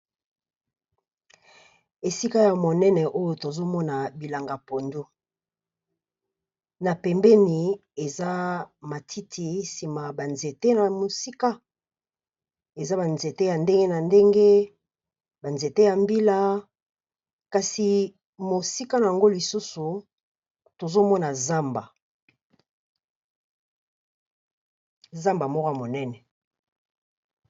Esika ya monene oyo tozo mona bilanga pondu, na pembeni eza matiti nsima ba nzete na mosika. Eza ba nzete ya ndenge na ndenge, ba nzete ya mbila, kasi mosika nango lisusu tozo mona zamba, zamba moko monene.